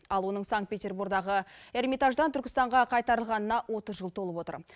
ал оның санкт петербордағы эрмитаждан түркістанға қайтарылғанына отыз жыл толып отыр